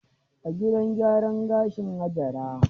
A gidan gyaran gashin Hajara.